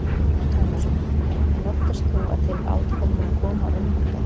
Telma Tómasson: En óttast þú að til átaka kunni að koma á vinnumarkaði?